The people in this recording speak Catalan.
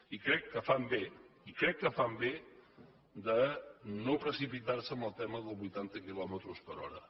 i crec que fan bé i crec que fan bé de no precipitar se en el tema dels vuitanta quilòmetres per hora